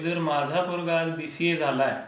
जर माझा पोरगा बीसीए झालाय,